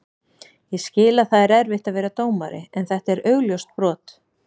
Ég skil að það er erfitt að vera dómari en þetta var augljóst brot.